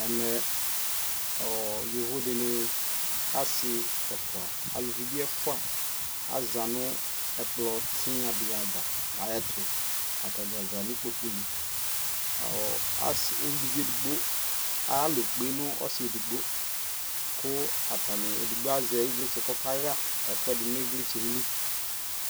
Ɛmɛ ɔɔ yovo dini asi ɛfua, aluvi bi ɛfua aza nu ɛkplɔ tinya di ava ɛyɛ tu Atani za ni kpoku li Ɔ asi uluvi edigbo aya lɔɛ kpe nu ɔsi edigbo ku atani edigbo azɛ ιvlitse kɔka ɣa ɛkuɛdi ni vlitse li